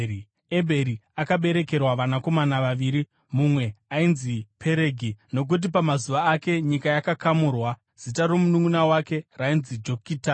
Ebheri akaberekerwa vanakomana vaviri: Mumwe ainzi Peregi, nokuti pamazuva ake nyika yakakamurwa; zita romununʼuna wake rainzi Jokitani.